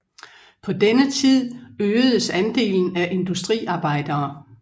På denne tid øgedes andelen af industriarbejdere